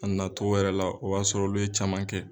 A nana to yɛrɛ la o y'a sɔrɔ olu ye caman kɛ.